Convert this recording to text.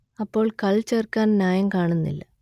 അപ്പോൾ കൾ ചേർക്കാൻ ന്യായം കാണുന്നില്ല